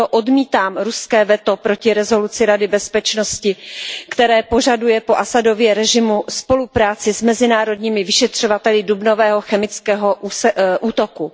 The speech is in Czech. Proto odmítám ruské veto proti rezoluci Rady bezpečnosti, která požaduje po Asadově režimu spolupráci s mezinárodními vyšetřovateli dubnového chemického útoku.